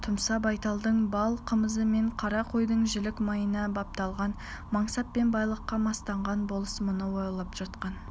тұмса байталдың бал қымызы мен қара қойдың жілік майына бапталған мансап пен байлыққа мастанған болыс мұны ойлап жатқан